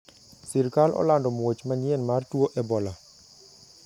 Sirkal olando muoch manyien mar tuo ebola.